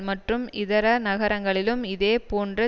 மற்றும் இதர நகரங்களிலும் இதே போன்று